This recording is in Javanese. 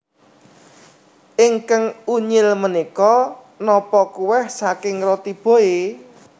Ingkang unyil menika nopo kueh saking Roti Boy?